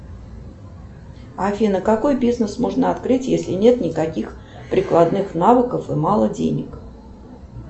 афина какой бизнес можно открыть если нет никаких прикладных навыков и мало денег